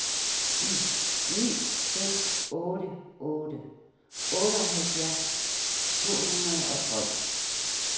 ni seks otte otte otteoghalvfjerds to hundrede og tolv